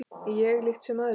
Ég líkt sem aðrir var.